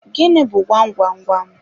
Gịnị bu gwam gwam gwam?